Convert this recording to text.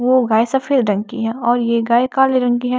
वो गाय सफेद रंग की है और ये गाय काले रंग की है।